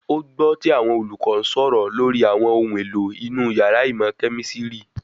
Ó gbọ́ tí àwọn olùkọ́ ń sọ̀rọ̀ lórí àwọn ohun èlò inú yàrá ìmọ̀ kẹ̀mísírì